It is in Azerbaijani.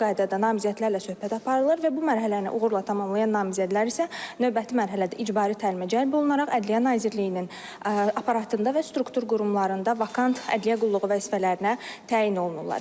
İndividual qaydada namizədlərlə söhbət aparılır və bu mərhələni uğurla tamamlayan namizədlər isə növbəti mərhələdə icbari təlimə cəlb olunaraq Ədliyyə Nazirliyinin aparatında və struktur qurumlarında vakant ədliyyə qulluğu vəzifələrinə təyin olunurlar.